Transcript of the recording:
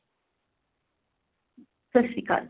ਸਤਿ ਸ਼੍ਰੀ ਅਕਾਲ ਜੀ